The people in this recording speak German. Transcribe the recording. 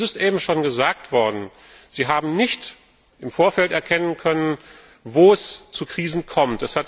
Es ist eben schon gesagt worden Sie haben nicht im Vorfeld erkennen können, wo es zu Krisen kommt.